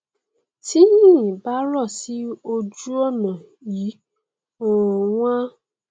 tí yìnyín bá rọ sí ojú ọnà yìí um wọn á